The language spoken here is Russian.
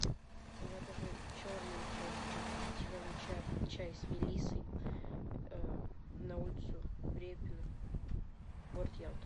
закажи черный чай ричард и зеленый чай с мелиссой на улицу репина город ялта